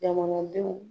Jamanadenw